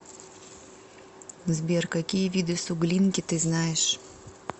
сбер какие виды суглинки ты знаешь